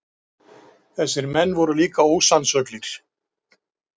Þessir menn voru líka ósannsöglir.